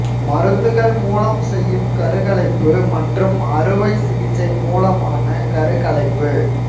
மருந்துகள் மூலம் செய்யும் கருகலைப்பு மற்றும் அறுவை சிகிச்சை மூலமான கருக்கலைப்பு